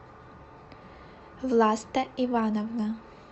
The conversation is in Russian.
власта ивановна